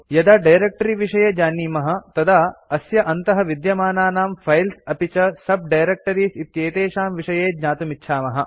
यदा डायरेक्ट्री विषये जानीमः तदा अस्य अन्तः विद्यमानानां फाइल्स् अपि च sub डायरेक्टरीज़ इत्येतेषां विषये ज्ञातुमिच्छामः